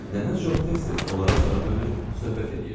Nənə çox tez-tez onlara sarı dönür, söhbət eləyirdi.